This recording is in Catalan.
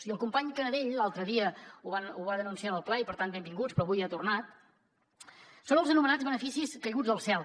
i el company canadell l’altre dia ho va denunciar en el ple i per tant benvingut però avui hi ha tornat són els anomenats beneficis caiguts del cel